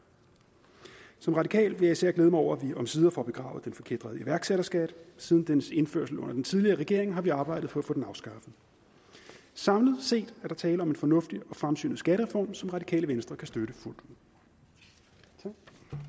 som radikal vil jeg især glæde mig over at vi omsider får begravet den forkætrede iværksætterskat siden dens indførelse under den tidligere regering har vi arbejdet for at få den afskaffet samlet set er der tale om en fornuftig og fremsynet skattereform som det radikale venstre kan støtte fuldt ud